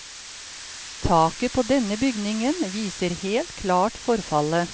Taket på denne bygningen viser helt klart forfallet.